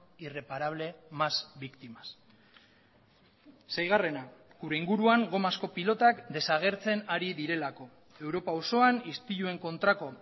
irreparable más víctimas seigarrena gure inguruan gomazko pilotak desagertzen ari direlako europa osoan istiluen kontrako